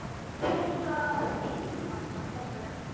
Ég er svo einmana pabbi.